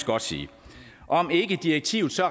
godt sige om ikke direktivet så